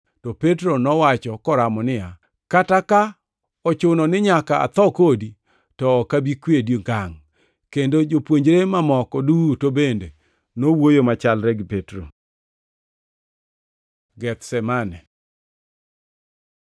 To Petro nowacho koramo niya, “Kata ka ochuno ni nyaka atho kodi, to ok abi kwedi ngangʼ.” Kendo jopuonjre mamoko duto bende nowuoyo machalre gi Petro. Gethsemane